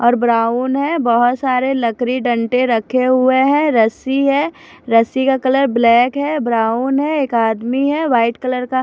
और ब्राउन है बहुत सारे लकड़ी डंडे रखे हुए हैं रस्सी है रस्सी का कलर ब्लैक है ब्राउन है एक आदमी है व्हाइट कलर का--